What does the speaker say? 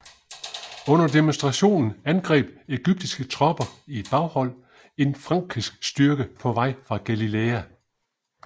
Under demonstrationen angreb egyptiske tropper i et baghold en frankisk styrke på vej fra Galilæa